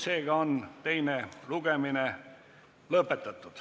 Seega on teine lugemine lõpetatud.